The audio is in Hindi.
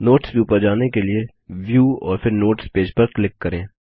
नोट्स व्यू पर जाने के लिए व्यू और फिर नोट्स पेज पर क्लिक करें